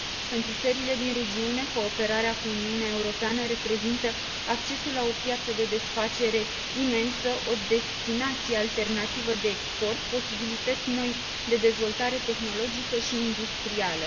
Pentru țările din regiune, cooperarea cu Uniunea Europeană reprezintă accesul la o piață de desfacere imensă, o destinație alternativă de export, posibilități noi de dezvoltare tehnologică și industrială.